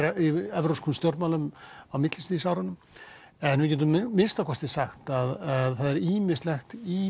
evrópskum stjórnmálum á millistríðsárunum við getum þó sagt að það er ýmislegt í